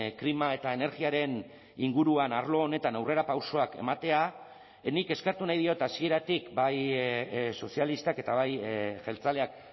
klima eta energiaren inguruan arlo honetan aurrerapausoak ematea nik eskertu nahi diot hasieratik bai sozialistak eta bai jeltzaleak